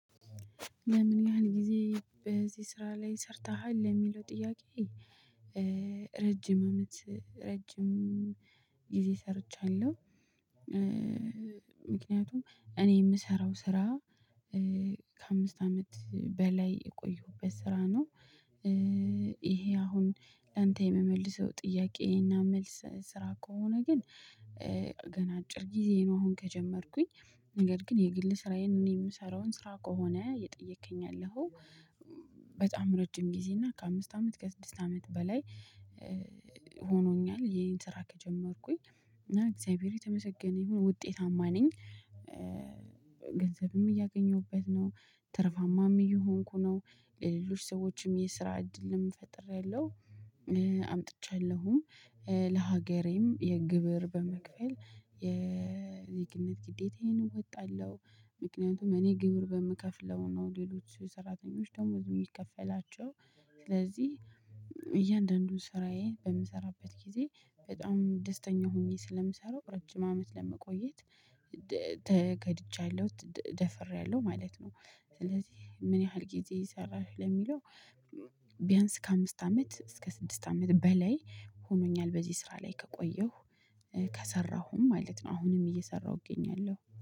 ለምን ያህል ጊዜ በዚህ ስራ ላይ ሰርተሃል የሚለው ጥያቄ? ረጅም አመት ረጅም ጊዜ ሰርቻለሁ። ምክንያቱም እኔ የምሰራው ስራ ከአምስት አመት በላይ የቆየዉበት ስራ ነው። ይሄ አሁን ለአንተ የምመልሰው ጥያቄዬና መልስ ስራ ከሆነ ግን። ገና አጭር ጊዜ ነው አሁን ከጀመርኩኝ ነገር ግን የግል ስራዬን እኔ የምሰራውን ስራ ከሆነ የጠየከኝ ያለኸው በጣም ረጅም ጊዜ እና ከአምስት አመት ከስድስት አመት በላይ። ሆኖኛል ይሄን ስራ ከጀመርኩኝ እና እግዚአብሔር የተመሰገነ ይሁን ውጤታማ ነኝ። ገንዘብም እያገኘሁበት ነው። ትርፋማም እየሆንኩ ነው። ሌሎች ሰዎችም የስራ እድልም ፈጥሬያለሁ። አምጥቻለሁም ለሀገሬም የግብር በመክፈል የዜግነት ግዴታዬን እወጣለሁ። ምክንያቱም እኔ ግብር በምከፍለው ነው ሌሎች ሰራተኞች ደሞዝ የሚከፈላቸው። ስለዚህ እያንዳንዱን ስራዬን በምሰራበት ጊዜ በጣም ደስተኛ ሆኜ ስለምሰራው ረጅም አመት ለመቆየት ተገድጃለሁ ደፍሬያለሁ ማለት ነው። ስለዚህ ምን ያህል ጊዜ ሰራሽ ለሚለው? ቢያንስ ከአምስት አመት እስከ ስድስት አመት በላይ ሆኖኛል። በዚህ ስራ ላይ ከቆየሁ ከሰራሁም ማለት ነው አሁንም እየሰራሁ እገኛለሁ